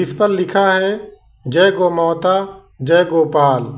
ऊपर लिखा है जय गौ माता जय गोपाल।